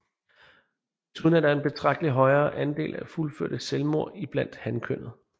Desuden er der en betragteligt højere andel af fuldførte selvmord iblandt hankønnet